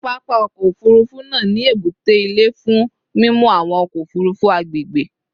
Papa ọkọ ofurufu naa ni ebute ile fun mimu awọn ọkọ ofurufu agbegbe